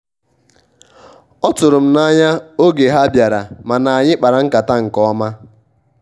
ọtụrụ m na-anya oge ha biara mana anyị kpara nkata nke ọma